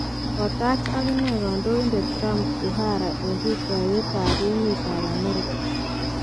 Kotach aginee kondoindet Trump Buhari en rutoytab emet ab America.